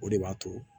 O de b'a to